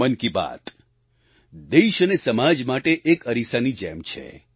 મન કી બાત દેશ અને સમાજ માટે એક અરીસાની જેમ છે